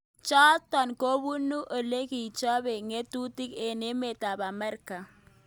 Chotok kobunu olekichope ngatutik eng emet ab Amerika.